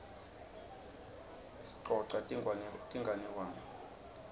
sicosa tinganekwane